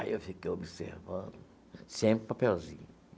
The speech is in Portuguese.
Aí eu fiquei observando, sempre papelzinho.